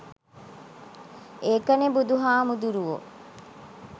ඒකනෙ බුදු හාමුදුරුවො